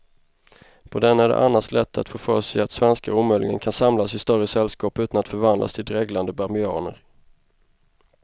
På den är det annars lätt att få för sig att svenskar omöjligen kan samlas i större sällskap utan att förvandlas till dreglande babianer.